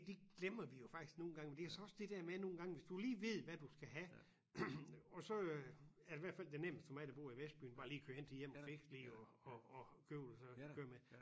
Det glemmer vi jo faktisk nogle gange fordi jeg syntes også det der med nogle gange hvis du lige ved hvad du skal have og så øh er det i hvert fald det nemmeste for mig der bor i vestbyen bare lige køre hen til Jem og Fiks lige og og og købe det så køre med